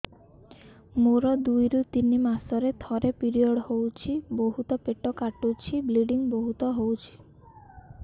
ମୋର ଦୁଇରୁ ତିନି ମାସରେ ଥରେ ପିରିଅଡ଼ ହଉଛି ବହୁତ ପେଟ କାଟୁଛି ବ୍ଲିଡ଼ିଙ୍ଗ ବହୁତ ହଉଛି